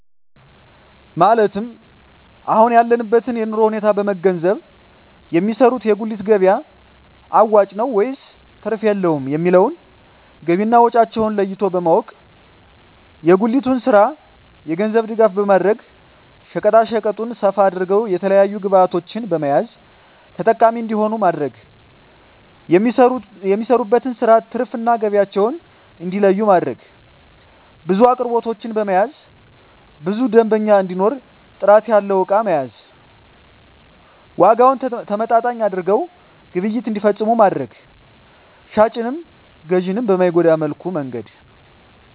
ማለት የአሁን ያለበትን የኑሮ ሁኔታ በመንገዘብ የሚሰሩት የጉሊት ገቢያ አዋጭ ነው ወይስ ትርፍ የለውም የሚለውን ገቢና ወጫቸውን ለይቶ በማወቅ። የጉሊቱን ስራ የገንዘብ ድጋፍ በማድረግ ሸቀጣሸቀጡን ሰፋ አድርገው የተለያዪ ግብዕቶችን በመያዝ ተጠቃሚ እንዲሆኑ ማድረግ። የሚሰሩበትን ስራ ትርፍ እና ገቢያቸውን እንዲለዪ ማድረግ። ብዙ አቅርቦቶችን በመያዝ ብዙ ደንበኛ እንዲኖር ጥራት ያለው እቃ መያዝ። ዋጋውን ተመጣጣኝ አድርገው ግብይት እንዲፈፅሙ ማድረግ። ሻጭንም ገዢንም በማይጎዳ መልኩ መነገድ